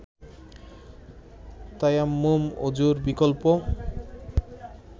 তায়াম্মুম অযুর বিকল্প